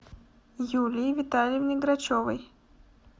юлии витальевне грачевой